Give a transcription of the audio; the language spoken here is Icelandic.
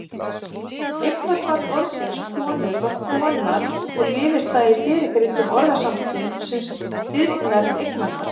Eignarfall orðsins konur var konar og lifir það í fyrrgreindum orðasamböndum sem stirðnað eignarfall.